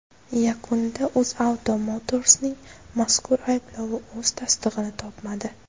Yakunda UzAuto Motors’ning mazkur ayblovi o‘z tasdig‘ini topmadi .